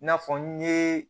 N'a fɔ n ye